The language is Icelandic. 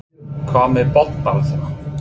Hvað með botnbaráttuna?